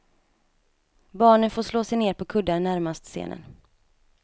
Barnen får slå sig ner på kuddar närmast scenen.